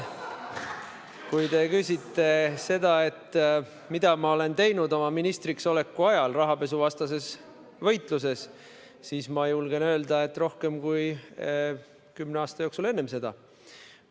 Kui te küsite seda, mida ma olen teinud ministriks oleku ajal rahapesuvastases võitluses, siis julgen öelda, et rohkem, kui kümne aasta jooksul enne seda on tehtud.